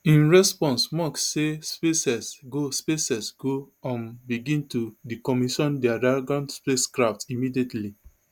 in response musk say spacex go spacex go um begin to decommission dia dragon spacecraft immediately